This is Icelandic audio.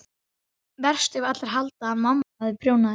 Verst ef allir halda að mamma hafi prjónað þær.